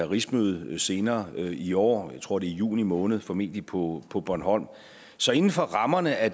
rigsmødet senere i år jeg tror det er juni måned formentlig på på bornholm så inden for rammerne af